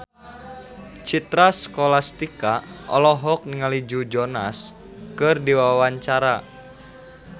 Citra Scholastika olohok ningali Joe Jonas keur diwawancara